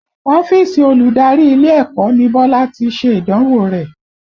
Ọ́fíìsì olùdarí ilé ẹ̀kọ́ ni Bọ́lá tí ṣe ìdánwò rẹ̀